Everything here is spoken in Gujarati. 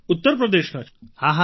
ઉત્તર પ્રદેશના છો